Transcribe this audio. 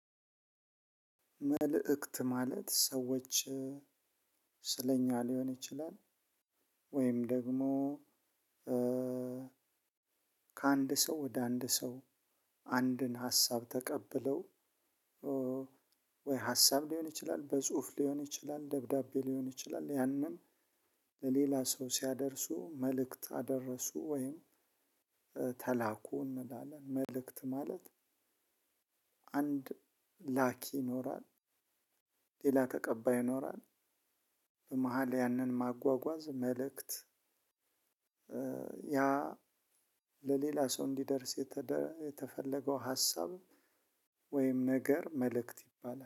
መልእክት ማለት ሰዎች ስለኛ ሊሆን ይችላል ወይም ደግሞ። ከአንድ ሰው ወደ አንድ ሰው አንድን ሀሳብ ተቀብለው። ወይ ሀሳብ ሊሆን ይችላል በጽሁፍ ሊሆን ይችላል ደብዳቤ ሊሆን ይችላል ያንንም ለሌላ ሰው ሲያደርሱ መልእክት አደረሱ ወይም ተላኩ እንላለን መልእክት ማለት አንድ ላኪ ይኖራል ሌላ ተቀባይ ይኖራል በመሃል ያንን ማጓጓዝ መልእክት ያ ለሌላ ሰው እንዲደርስ የተፈለገው ሀሳብ ወይም ነገር መልእክት ይባላል